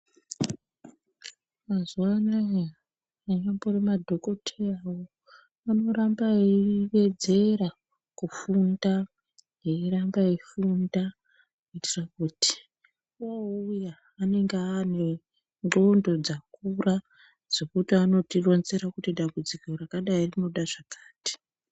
Mazuwa anaa anyambori madhokoteyawo anoramba eiwedzera kufunda , eiramba eiwedzera kufunda kuitira kuti oouya anenge aane nendxondo dzakura dzekuti anotironzera kuti dambudziko rakadai rinoda zvakati.